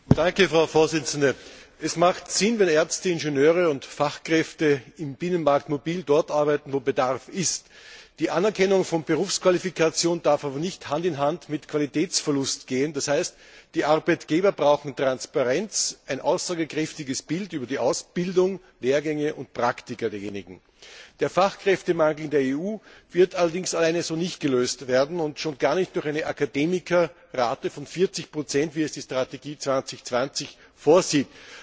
Frau Präsidentin! Es hat Sinn, wenn Ärzte, Ingenieure und Fachkräfte im Binnenmarkt mobil dort arbeiten, wo Bedarf ist. Die Anerkennung von Berufsqualifikation darf aber nicht Hand in Hand mit Qualitätsverlust gehen, d. h. die Arbeitgeber brauchen Transparenz, ein aussagekräftiges Bild über die Ausbildung, Lehrgänge und Praktika derjenigen. Der Fachkräftemarkt in der EU wird allerdings allein so nicht gelöst werden und schon gar nicht durch eine Akademikerrate von 40 wie es die Strategie Europa 2020 vorsieht.